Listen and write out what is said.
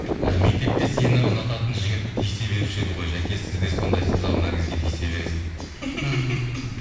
і мектепте сені ұнататын жігіт тиісе беруші еді ғой жәке сіз де сондайсыз ау наргизге тиісе бересіз дейді